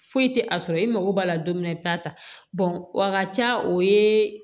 Foyi tɛ a sɔrɔ i mago b'a la don min na i bi taa ta a ka ca o ye